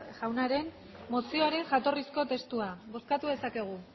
jaunaren mozioaren jatorrizko testua bozkatu dezakegu